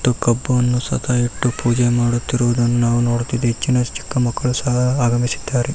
ತ ಕಬ್ಬುವನ್ನು ಸತಾ ಇಟ್ಟು ಪೂಜೆ ಮಾಡುತ್ತಿರುವನ್ನ ನೋಡ್ತಿದ್ದವ್ ಚಿನ್ನ ಚಿಕ್ಕ ಮಕ್ಕಳ ಸಹ ಆರಂಭಿಸಿದ್ದಾರೆ .